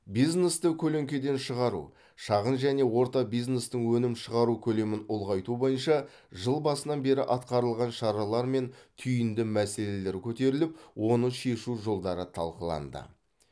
бизнесті көлеңкеден шығару шағын және орта бизнестің өнім шығару көлемін ұлғайту бойынша жыл басынан бері атқарылған шаралар мен түйінді мәселелер көтеріліп оны шешу жолдары талқыланды